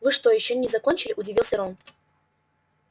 вы что ещё не закончили удивился рон